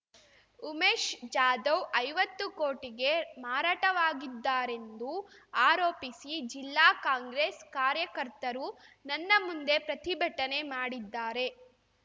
ಉಮೇಶ್‌ ಜಾಧವ್‌ ಐವತ್ತು ಕೋಟಿಗೆ ಮಾರಾಟವಾಗಿದ್ದಾರೆಂದು ಆರೋಪಿಸಿ ಜಿಲ್ಲಾ ಕಾಂಗ್ರೆಸ್‌ ಕಾರ್ಯಕರ್ತರು ನನ್ನ ಮುಂದೆ ಪ್ರತಿಭಟನೆ ಮಾಡಿದ್ದಾರೆ